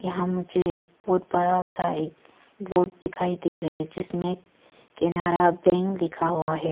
यहां मुझे एक बहुत बड़ा सा एक बोर्ड दिखाई दे रहे जिसमें केनारा बैंक लिखा हुआ है।